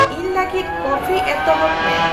ᱤᱧ ᱞᱟᱹᱜᱤᱫ ᱠᱚᱯᱷᱤ ᱮᱛᱚᱦᱚᱵ ᱢᱮ